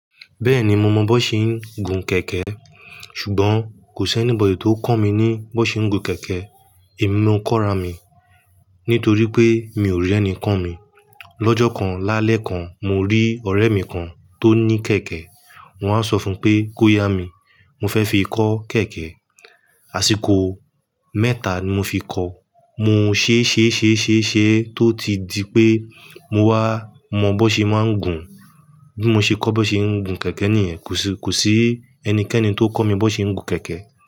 Bẹ́ẹ̀ni mo mọ bó ṣe ń gun kẹ̀kẹ́, ṣùgbọ́n kò sí ẹní bọ̀dy tó kọ́ mi ní bó ṣe ń gun kẹ̀kẹ́. Èmi mọ kọ́ra mi nítorí pé mi ò rí ẹnì ko mi. Lọ́jọ́ kan lálẹ́ kan, mo rí ọ̀rẹ́ mi kan tó ní kẹ̀kẹ́, mo wá sọ fún pé kó yá mi, mo fẹ́ fi kọ́ kẹ̀kẹ́. Àṣìkò mẹ́ta ni mo fi kọ. Mo ṣe ṣe ṣe ṣe ṣe tó ti di pé mo wá mọ bó ṣe máa ń gun. Bí mo ṣe kọ́ bó ṣe ń gun kẹ̀kẹ́ nìyẹn, kò sí kò sí ẹnikẹ́ni tó kọ́ mi bó ṣe ń gun kẹ̀kẹ́